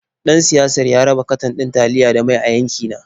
Ɗan siyasar ya raba katon ɗin taliya da mai a yankina.